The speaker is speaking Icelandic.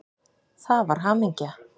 Það var hamingja.